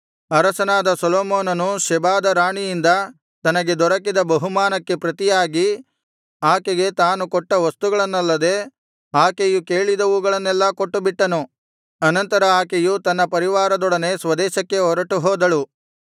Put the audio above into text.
ಅರಸನಾದ ಸೊಲೊಮೋನನು ಶೆಬಾದ ರಾಣಿಯಿಂದ ತನಗೆ ದೊರಕಿದ ಬಹುಮಾನಕ್ಕೆ ಪ್ರತಿಯಾಗಿ ಆಕೆಗೆ ತಾನು ಕೊಟ್ಟು ವಸ್ತುಗಳನ್ನಲ್ಲದೆ ಆಕೆಯು ಕೇಳಿದವುಗಳನ್ನೆಲ್ಲಾ ಕೊಟ್ಟುಬಿಟ್ಟನು ಅನಂತರ ಆಕೆಯು ತನ್ನ ಪರಿವಾರದವರೊಡನೆ ಸ್ವದೇಶಕ್ಕೆ ಹೊರಟುಹೋದಳು